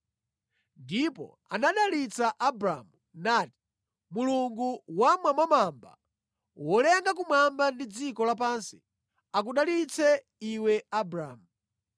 ndipo anadalitsa Abramu nati, “Mulungu Wammwambamwamba, wolenga kumwamba ndi dziko lapansi, akudalitse iwe Abramu.